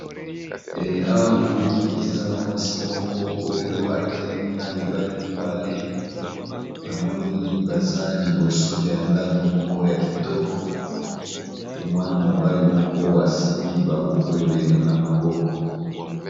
Awa namoni eza na mwasi moko oyo atelemi na mibali mibale namoni baza liboso ya ndako moko ya kitoko e mwana-mobali moko asimbi babuku ebele na maboko.